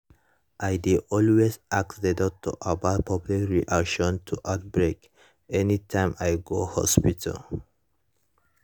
i dey always ask the doctor about public reaction to outbreak anytym i go hospital